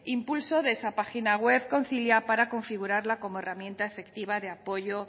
impulso de esa página web concilia para configurarla como herramienta efectiva de apoyo